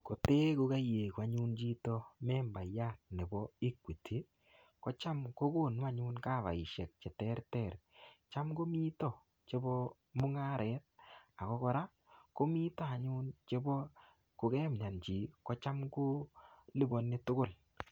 Kotee kokaiegu anyun chito membaiyat nebo Equity, kocham kokonu anyun kavaisiek che terter. Cham komito chebo mung'aret. Ako kora, komito anyun chebo kokemyan chii, kocham kolipani tugul.